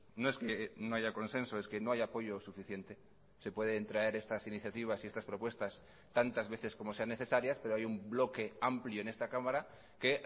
no es que no haya consenso es que no hay apoyo suficiente se pueden traer estas iniciativas y estas propuestas tantas veces como sean necesarias pero hay un bloque amplio en esta cámara que